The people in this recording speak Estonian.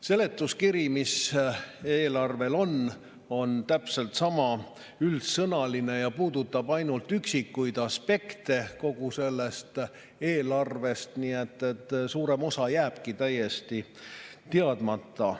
Seletuskiri, mis eelarvel on, on täpselt sama üldsõnaline ja puudutab ainult üksikuid aspekte kogu eelarvest, nii et suurem osa jääbki täiesti teadmata.